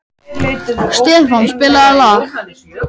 Stefán, spilaðu lag.